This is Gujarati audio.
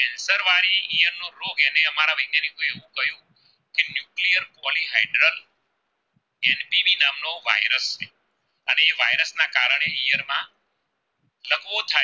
કારણે ઈયળ માં જમો થાય